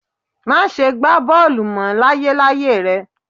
Máṣe gbá bọ́ọ̀lù mọ́ láyéláyé rẹ